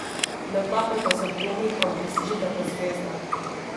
Ne utapljajte se v dvomih, ampak sežite po zvezdah!